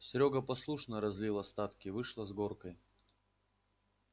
серёга послушно разлил остатки вышло с горкой